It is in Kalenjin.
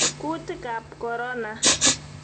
kuutikab korona